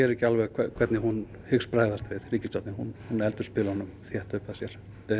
ekki alveg hvernig hún hyggst bregðast við ríkisstjórnin hún heldur spilunum þétt upp að sér